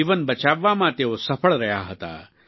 નું જીવન બચાવવામાં તેઓ સફળ રહ્યા હતા